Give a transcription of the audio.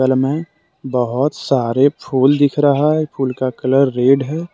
बगल में बहुत सारे फूल दिख रहा है फूल का कलर रेड है।